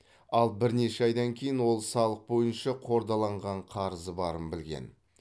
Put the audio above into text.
ал бірнеше айдан кейін ол салық бойынша қордаланған қарызы барын білген